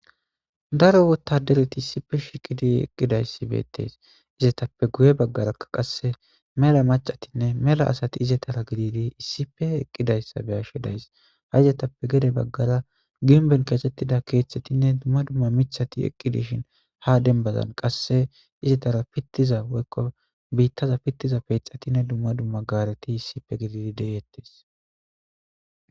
daro wotadereti issife shiiqidi eqqidayssi beettees izetappe guye baggarakka qasse mela macatinne mela asati izetara gididi issife eqqidayssa be'ashshe days ha izetappe gede baggara ginben keesettida keeththetinne dumma dumma miththati eqqi dishishn ha denbazan qasse izetara pittiza woykko biittaza pittiza peexatinne dumma dumma gaareti issife gididi de'ettees